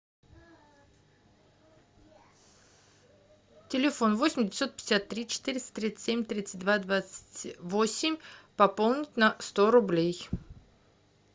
телефон восемь девятьсот пятьдесят три четыреста тридцать семь тридцать два двадцать восемь пополнить на сто рублей